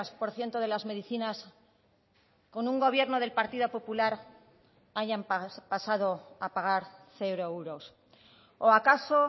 por ciento de las medicinas con un gobierno del partido popular hayan pasado a pagar cero euros o acaso